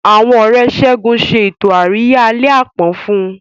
Àwọn Ọ̀rẹ́ Segun ṣe ètò àríyá àlẹ́ àpọ́n fún un.